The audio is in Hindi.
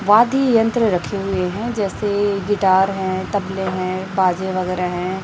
वाद्य यंत्र रखे हुए हैं जैसे गिटार है तबले है बाजे वगैरह है।